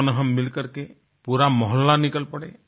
क्यों ना हम मिलकर के पूरा मोहल्ला निकल पड़े